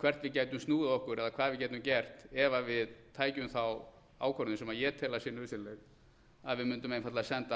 hvert við gætum snúið okkur eða hvað við gætum gert ef við tækjum þá ákvörðun sem ég tel að sé nauðsynleg að við mundum einfaldlega senda